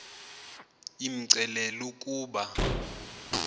imcelile l ukuba